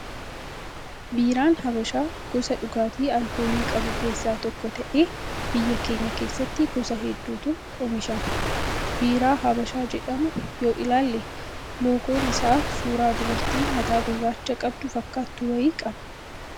Biiraan habashaa gosa dhugaatii alkoolii qabu keessaa tokko ta'ee biyya keenya keessatti gosa hedduutu oomishama. Biiraa habashaa jedhamu yoo ilaalle, loogoon isaa suuraa dubartii mataa gurraacha qabdu fakkaatu wayii qaba.